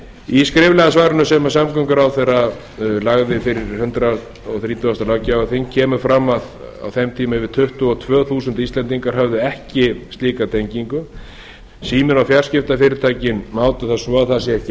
í skriflega svarinu sem samgönguráðherra lagði fyrir hundrað þrítugasta löggjafarþing kemur fram að á þeim tíma hafi um tuttugu og tvö þúsund íslendingar ekki slíka tengingu síminn og fjarskiptafyrirtækin mátu það svo að það sé ekki